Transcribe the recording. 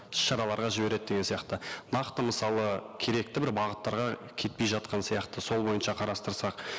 тыс шараларға жібереді деген сияқты нақты мысалы керекті бір бағыттарға кетпей жатқан сияқты сол бойынша қарастырсақ